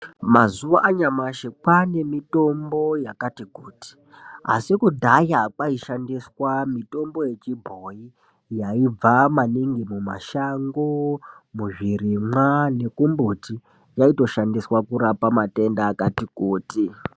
Mazuwa anyamashi kwane mitombo yakati kuti asi kudhaya kwaishandiswa mitombo yechibhoyi yaibva maningi mumashango, muzvirimwa nekumbuti yaitoshandiswa kurapa matenda akati kuti.